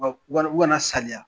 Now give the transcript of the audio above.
U kana saliya.